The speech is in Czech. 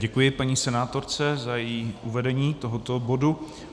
Děkuji paní senátorce za její uvedení tohoto bodu.